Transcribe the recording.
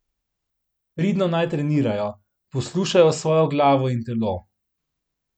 Pridno naj trenirajo, poslušajo svojo glavo in telo.